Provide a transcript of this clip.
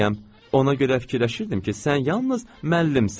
Ona görə fikirləşirdim ki, sən yalnız müəllimsən.